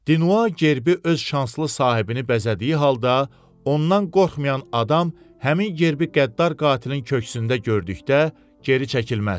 Dinua Gerbi öz şanslı sahibini bəzədiyi halda ondan qorxmayan adam həmin Gerbi qəddar qatilin kökündə gördükdə geri çəkilməz.